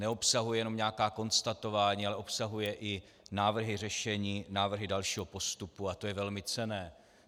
Neobsahuje jenom nějaká konstatování, ale obsahuje i návrhy řešení, návrhy dalšího postupu a to je velmi cenné.